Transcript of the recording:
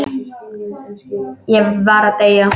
Ég var að deyja!